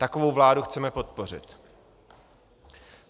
Takovou vládu chceme podpořit.